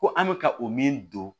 Ko an bɛ ka o min don